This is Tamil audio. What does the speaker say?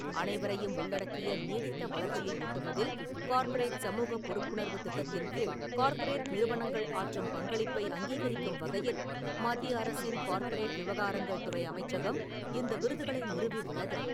அனைவரையும் உள்ளடக்கிய நீடித்த வளர்ச்சியை எட்டுவதில் கார்ப்பரேட் சமூக பொறுப்புணர்வு திட்டத்தின் கீழ் கார்ப்பரேட் நிறுவனங்கள் ஆற்றும் பங்களிப்பை அங்கீகரிக்கும் வகையில் மத்திய அரசின் கார்ப்பரேட் விவகாரங்கள் துறை அமைச்சகம் இந்த விருதுகளை நிறுவி உள்ளது.